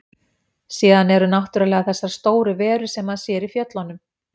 Síðan eru náttúrlega þessar stóru verur sem maður sér í fjöllunum.